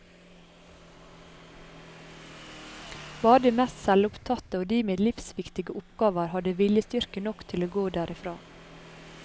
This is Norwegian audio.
Bare de mest selvopptatte, og de med livsviktige oppgaver, hadde viljestyrke nok til å gå derifra.